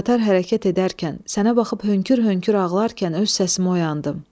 Qatar hərəkət edərkən sənə baxıb hönkür-hönkür ağlarkən öz səsimə oyandım.